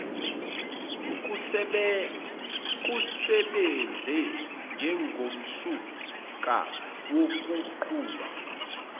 kusebenze njengomsuka wokunquma